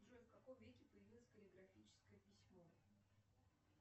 джой в каком веке появилось каллиграфическое письмо